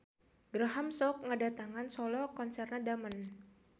Graham sok ngadatangan solo konserna Damon.